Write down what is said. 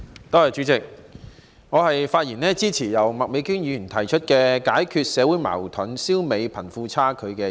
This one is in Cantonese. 代理主席，我發言支持由麥美娟議員提出的"解決社會矛盾，消弭貧富差距"議案。